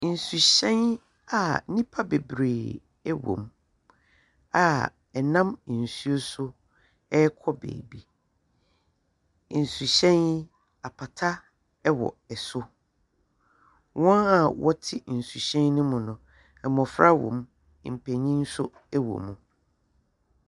Nsu nhyɛn a nnipa bebree wɔ mu a ɛnam nsuo so rekɔ baabi. Nsu hyɛn yi, apata wɔ so. Wɔn a wɔte nsu hyɛn no mu no, mmofra wɔ mu. Mpanyin nso wɔ mu.